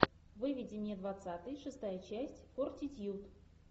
выведи мне двадцатый шестая часть фортитьюд